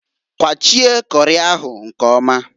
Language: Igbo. Kwachie kori ahụ nkọmaǃ